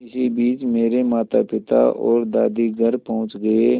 इसी बीच मेरे मातापिता और दादी घर पहुँच गए